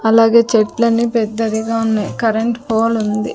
అలాగే చెట్లని పెద్దవిగా ఉన్నాయి కరెంట్ పోల్ ఉంది.